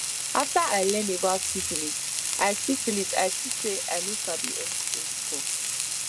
after i learn about syphilis i syphilis i see say i no sabi anything before